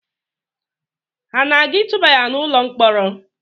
Ha aga-atụba ya n’ụlọ mkpọrọ?